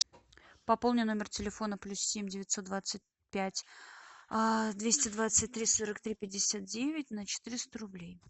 пополни номер телефона плюс семь девятьсот двадцать пять двести двадцать три сорок три пятьдесят девять на четыреста рублей